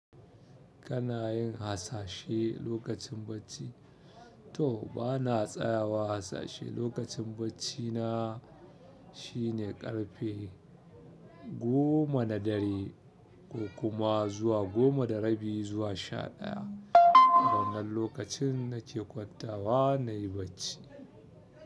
Kana yin hasashe lokacin bacci? To bana tsayawa hasashe lokacin bacci na shine ƙarfe goma na dare ko kuma zuwa goma da rabi zuwa sha ɗaya. Wannan lokacin nake kwanta wa nayi bacci.